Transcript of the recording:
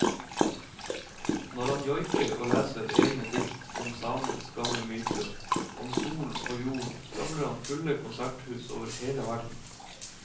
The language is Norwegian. Når han joiker og leser egne dikt om samenes gamle myter, om solen og jorden, samler han fulle konserthus over hele verden.